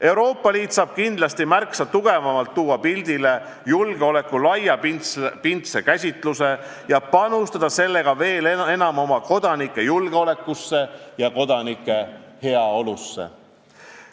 Euroopa Liit saab kindlasti märksa tugevamalt tuua pildile julgeoleku laiapindse käsituse ning panustada sellega veel enam oma kodanike julgeolekusse ja heaolusse.